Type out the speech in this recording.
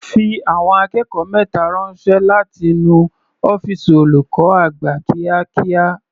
Fi àwọn akẹ́kọ̀ọ́ mẹta ránṣẹ́ láti nu ọ́fìsì olùkọ́ àgbà kíákíá.